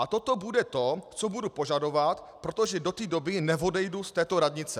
A toto bude to, co budu požadovat, protože do té doby neodejdu z této radnice.